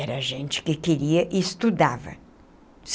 Era gente que queria e estudava.